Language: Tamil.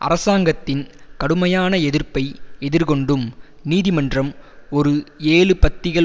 அரசாங்கத்தின் கடுமையான எதிர்ப்பை எதிர்கொண்டும் நீதிமன்றம் ஒரு ஏழு பத்திகள்